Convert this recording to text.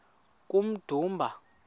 kummdumba